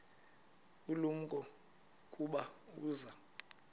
ulumko ukuba uza